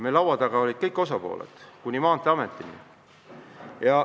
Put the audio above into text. Laua taga olid kõik osapooled kuni Maanteeametini välja.